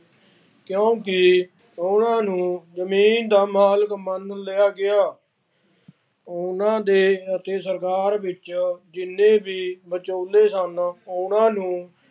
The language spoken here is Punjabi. ਕਿਉਂਕਿ ਉਹਨਾ ਨੂੰ ਜਮੀਨ ਦਾ ਮਾਲਕ ਮੰਨ ਲਿਆ ਗਿਆ। ਉਹਨਾ ਦੇ ਅਤੇ ਸਰਕਾਰ ਵਿੱਚ ਜਿੰਨੇ ਵੀ ਵਿਚੋਲੇ ਸਨ ਉਹਨਾ ਨੂੰ